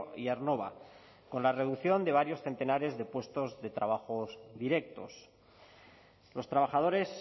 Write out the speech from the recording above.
y aernnova con la reducción de varios centenares de puestos de trabajo directos los trabajadores